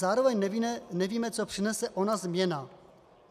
Zároveň nevíme, co přinese ona změna.